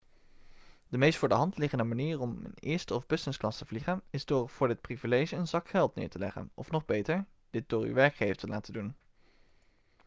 de meest voor de hand liggende manier om in eerste of businessclass te vliegen is door voor dit privilege een zak geld neer te tellen of nog beter dit door uw werkgever te laten doen